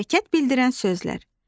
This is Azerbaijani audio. Hərəkət bildirən sözlər.